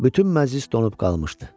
Bütün məclis donub qalmışdı.